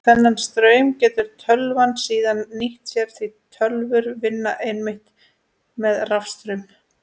Þennan straum getur tölvan síðan nýtt sér því tölvur vinna einmitt með rafstraum.